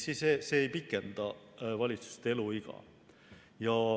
See ei pikenda valitsuste eluiga.